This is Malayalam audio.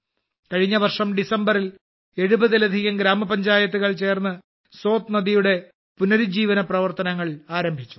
കഴിഞ്ഞ വർഷം ഡിസംബറിൽ എഴുപതിലധികം ഗ്രാമപഞ്ചായത്തുകൾ ചേർന്ന് സോത് നദിയുടെ പുനരുജ്ജീവന പ്രവർത്തനങ്ങൾ ആരംഭിച്ചു